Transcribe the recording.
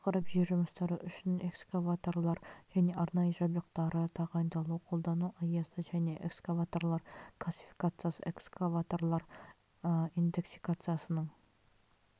тақырып жер жұмыстары үшін экскаваторлар және арнайы жабдықтары тағайындалуы қолдану аясы және экскаваторлар классификациясы экскаваторлар индексациясының